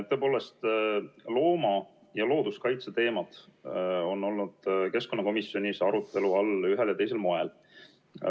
Tõepoolest, looma- ja looduskaitse teemad on olnud keskkonnakomisjonis arutelu all ühel ja teisel moel.